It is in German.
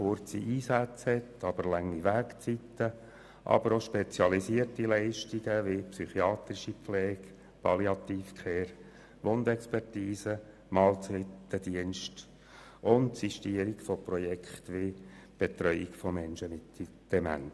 kurze Einsätze bei langen Wegzeiten, aber ebenso spezialisierte Leistungen wie psychiatrische Pflege, Palliative Care, Wundexpertise, Mahlzeitendienst und die Sistierung von Projekten wie die Betreuung von Menschen mit Demenzerkrankungen.